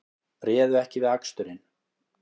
Réðu ekki við aksturinn